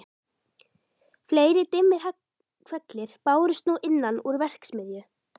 Fleiri dimmir hvellir bárust nú innan úr verksmiðju